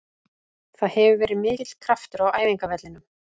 Það hefur verið mikill kraftur á æfingavellinum.